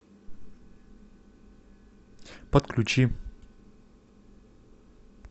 подключи